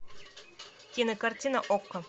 кинокартина окко